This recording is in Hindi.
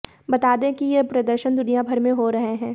बता दें कि ये प्रदर्शन दुनियाभर में हो रहे हैं